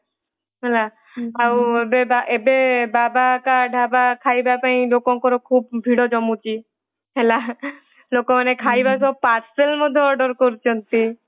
ହେଲା ଆଉ ଏବେ ଏବେ ବାବା କା ଢାବା ଖାଇବା ପାଇଁ ଲୋକଙ୍କର ଖୁବ ଭିଡ ଜମୁଛି ହେଲା ଲୋକ ମାନେ ଖାଇବାର ସହ parcel ମଧ୍ୟ order କରୁଛନ୍ତି ।